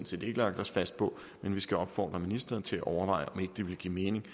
set ikke lagt os fast på men vi skal opfordre ministeren til at overveje om ikke det ville give mening